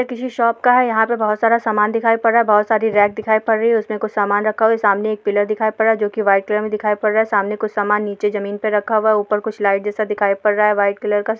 यह किसी शॉप का है यहाँ पर बहुत सारा सामान दिखाई पड़ रहा है बहुत सारी रैक दिखाई पड़ रही है उसपे सामान रखा हुआ है सामने एक पिलर दिखाई पड़ रहा है जोकि व्हाइट कलर में दिखाई पड़ रहा है सामने कुछ सामान ज़मीन पे रखा हुआ है ऊपर लाइट जैसा दिखाई पड़ रहा है व्हाइट कलर का।